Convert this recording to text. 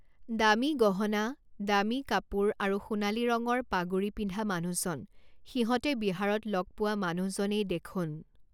দামী গহনা, দামী কাপোৰ আৰু সোনালী ৰঙৰ পাগুড়ী পিন্ধা মানুহজন সিহঁতে বিহাৰত লগ পোৱা মানুহ জনেই দেখোন!